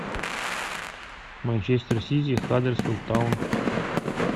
манчестер сити хаддерсфилд таун